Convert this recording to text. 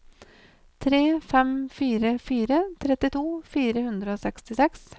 tre fem fire fire trettito fire hundre og sekstiseks